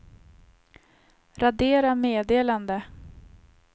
radera meddelande